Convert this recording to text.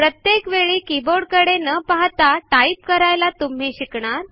प्रत्येक वेळी किबोर्डकडे न पाहता टाइप करायला तुम्ही शिकणार